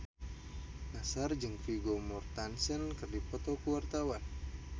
Nassar jeung Vigo Mortensen keur dipoto ku wartawan